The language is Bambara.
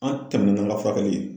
An tɛmɛnna n'an ka furakɛli ye.